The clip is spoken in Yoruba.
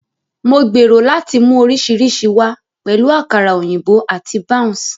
Mo gbèrò láti mú oríṣiríṣi wá, pẹ̀lú àkàrà òyìnbó àti bounce.